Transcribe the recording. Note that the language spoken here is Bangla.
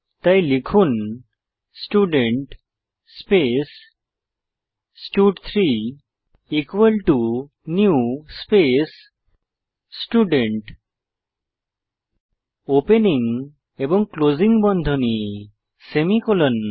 তাই লিখুন স্টুডেন্ট স্পেস স্টাড3 নিউ স্পেস স্টুডেন্ট ওপেনিং এবং ক্লোসিং ব্রেকেট সেমিকোলন